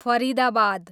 Faridabad